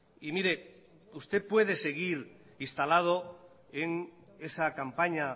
y mire usted puede seguir instalado en esa campaña